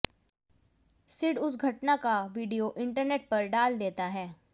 सिड उस घटना का वीडियो इंटरनेट पर डाल देता है